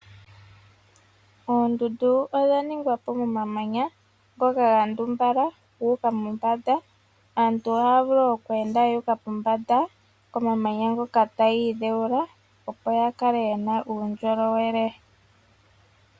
Oondundu odha ningwa po momamanya ngoka ga ndumbala gu uka mombanda. Aantu ohaya vulu oku enda yu uka mombanda komamanya ngoka taya iidheula opo ya kale ye na uundjolowele.